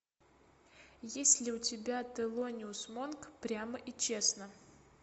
есть ли у тебя телониус монк прямо и честно